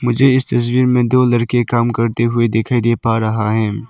मुझे इस तस्वीर में दो लड़के काम करते हुए दिखाइ दे पा रहा है।